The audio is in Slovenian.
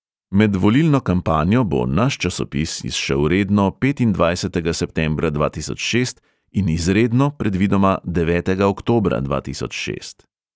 Med volilno kampanjo bo naš časopis izšel redno petindvajsetega septembra dva tisoč šest in izredno predvidoma devetega oktobra dva tisoč šest.